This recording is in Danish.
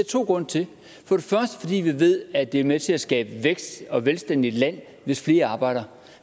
to grunde til vi ved at det er med til at skabe vækst og velstand i et land hvis flere arbejder